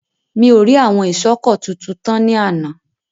Mi ò rí àwọn iṣọ́kọ̀tu tu tán ní àná.